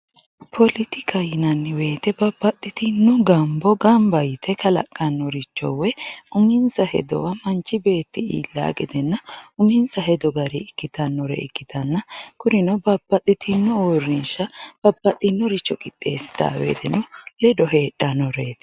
Poletikka yinnani woyite babaxitino gambo gamba yite kalqanoricho woyi uminsa hedowa manchi beeti iilawo gedenna uminsa hedo gariyi ikkitanore ikkitawo ikkanna kurino babaxitino uurrinsha babaxiworicho qixxeesitano woyiteno ledo heedhanoreeti